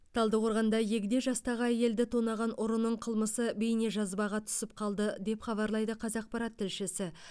талдықорғанда егде жастағы әйелді тонаған ұрының қылмысы бейнежазбаға түсіп қалды деп хабарлайды қазақпарат тілшісі